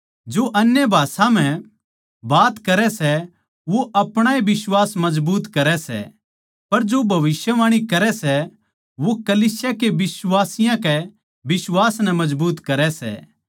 जो अन्य भाषा म्ह बात करै सै वो अपणा ए बिश्वास मजबूत करै सै पर जो भविष्यवाणी करै सै वो कलीसिया के बिश्वासियाँ के बिश्वास नै मजबूत करै सै